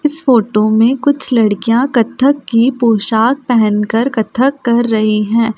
इस फोटो में कुछ लड़कियां कथक की पोशाक पहनकर कथक कर रही हैं।